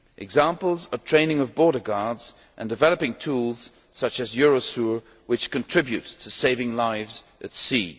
Examples are training of border guards and developing tools such as Eurosur which contribute to saving lives at sea.